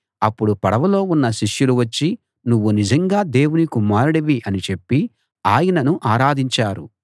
అప్పుడు పడవలో ఉన్న శిష్యులు వచ్చి నువ్వు నిజంగా దేవుని కుమారుడివి అని చెప్పి ఆయనను ఆరాధించారు